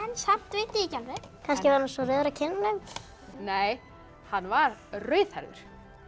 samt veit ég ekki alveg kannski var hann svo rauður á kinnunum nei hann var rauðhærður